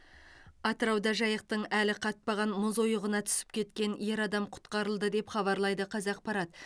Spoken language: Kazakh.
атырауда жайықтың әлі қатпаған мұз ойығына түсіп кеткен ер адам құтқарылды деп хабарлайды қазақпарат